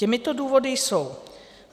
Těmito důvody jsou